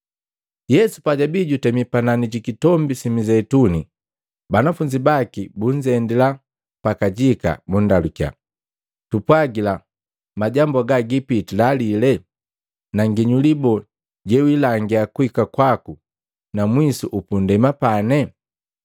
Yesu pajabii jutemi panani ji Kitombi si Mizeituni, banafunzi baki bunzendila pa kajika bundalukiya, “Tupwagila majambu haga gipitila lile? Na nginyuli boo jewilangia kuhika kwaku na mwisu upundema pane?”